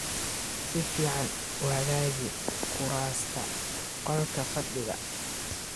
Si fiican u hagaaji kuraasta qolka fadhiga.